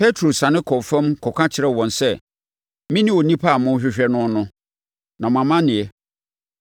Petro siane kɔɔ fam kɔka kyerɛɛ wɔn sɛ, “Mene onipa a morehwehwɛ no no, na mo amaneɛ?”